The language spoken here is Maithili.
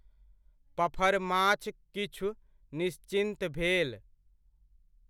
पफरमाछ किछु निश्चिन्त भेल।